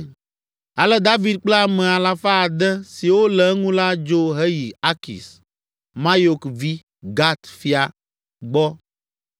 Ale David kple ame alafa ade (600) siwo le eŋu la dzo heyi Akis, Mayok vi, Gat fia, gbɔ.